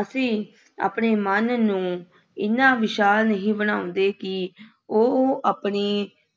ਅਸੀਂ ਆਪਣੇ ਮਨ ਨੂੰ ਐਨਾ ਵਿਸ਼ਾਲ ਨਹੀਂ ਬਣਾਉਂਦੇ ਕਿ ਉਹ ਆਪਣੀ